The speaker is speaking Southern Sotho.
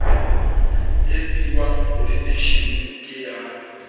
e siuwang poleseteishene ke ya